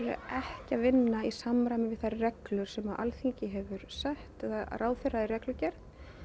ekki að vinna í samræmi við þær reglur sem Alþingi hefur sett eða ráðherra í reglugerð